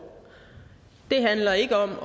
det handler ikke om at